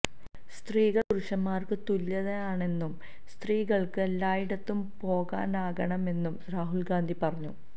സ്ത്രീകള് പുരുഷന്മാര്ക്ക് തുല്യര് തന്നെയാണെന്നും സ്ത്രീകള്ക്ക് എല്ലായിടത്തും പോകാനാകണമെന്നും രാഹുല് ഗാന്ധി പറഞ്ഞു